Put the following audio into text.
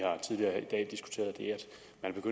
man